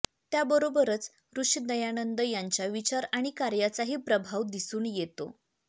त्याबरोबरच ऋषी दयानंद यांच्या विचार आणि कार्याचाही प्रभाव दिसून येतो